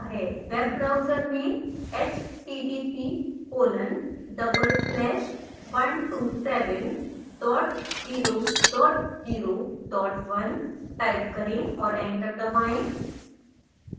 web browser में http colon double slash 127 dot 0 dot 0 dot 1 type करें और enter दबाएं